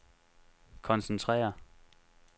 koncentrere